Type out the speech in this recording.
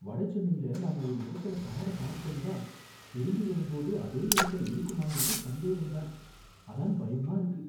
வட சென்னையில நாம ஒரு இடத்துல கார பார்க் பண்ணுனா திரும்பி வரும்போது அதே இடத்துல இருக்குமாங்கறது சந்தேகம் தான். அதான் பயமா இருக்கு.